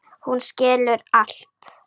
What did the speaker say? Hún skilur allt.